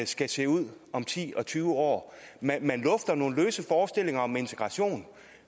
skal se ud om ti og tyve år man lufter nogle løse forestillinger om integration